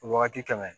Wagati tɛmɛ